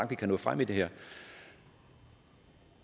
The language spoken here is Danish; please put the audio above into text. vi kan nå frem i det her